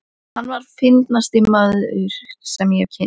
Hann var fyndnasti maður, sem ég hafði kynnst.